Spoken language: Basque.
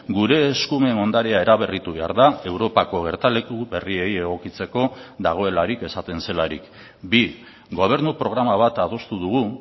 gure eskumen ondarea eraberritu behar da europako gertaleku berriei egokitzeko dagoelarik esaten zelarik bi gobernu programa bat adostu dugu